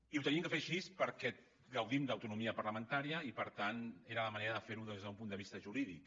i ho hem de fer així perquè gaudim d’autonomia parlamentària i per tant era la manera de ferho des d’un punt de vista jurídic